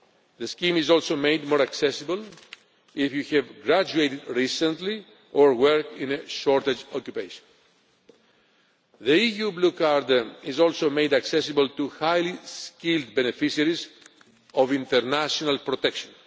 The scheme is also made more accessible if you have graduated recently or work in a shortage occupation. The EU Blue Card is also made accessible to highly skilled beneficiaries of international protection.